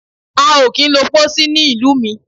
A ò kí ń lo Pósí ní ìlú mi.